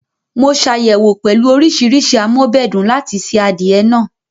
Mo ṣàyẹ̀wò pẹ̀lú oríṣiríṣi am'ọ́bẹ̀dùn láti se adìẹ náà